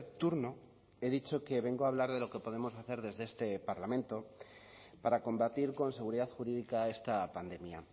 turno he dicho que vengo a hablar de lo que podemos hacer desde este parlamento para combatir con seguridad jurídica a esta pandemia